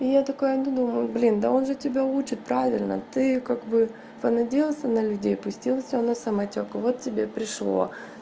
и я такая думаю блин да он же тебя учит правильно ты как бы понадеялся на людей пустил всё на самотёк вот тебе пришло